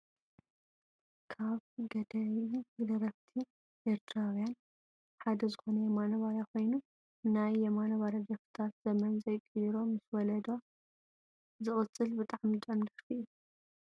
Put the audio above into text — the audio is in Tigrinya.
ካብ ገዳይም ደረፍቲ ኤርትራዊያን ሓደ ዝኮነ የማነ ባርያ ኮይኑ ፣ ናይ የማነ ባርያ ደርፍታት ዘመን ዘይቅይሮ ምስ ወለዶ ዝቅፅል ብጣዕሚ ጡዑም ደርፊ እዩ ።